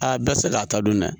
A bɛɛ tɛ se k'a ta dun dɛ